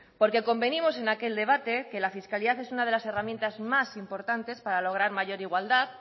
porque convenimos en aquel debate que la fiscalidad es una de las herramientas más importantes para lograr mayor igualdad